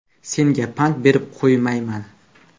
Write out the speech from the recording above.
Senga pand berib qo‘ymayman”.